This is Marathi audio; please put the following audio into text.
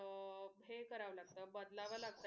हे करावं लागत बदलावं लागत.